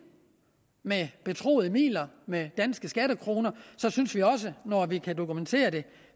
med betroede midler med danske skattekroner synes vi også når vi kan dokumentere det